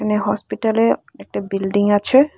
এ হসপিটালে একটা বিল্ডিং আছে।